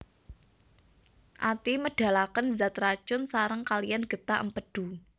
Ati médhalakén zat racun saréng kaliyan gétah Émpédu